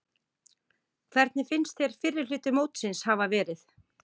Hvernig finnst þér fyrri hluti mótsins hafa verið?